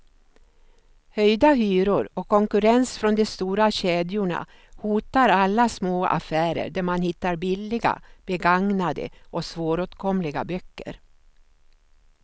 Höjda hyror och konkurrens från de stora kedjorna hotar alla små affärer där man hittar billiga, begagnade och svåråtkomliga böcker.